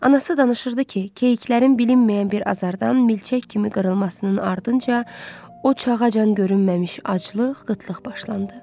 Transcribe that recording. Anası danışırdı ki, keyiklərin bilinməyən bir azardan milçək kimi qırılmasının ardınca o çağacan görünməmiş aclıq, qıtlıq başlandı.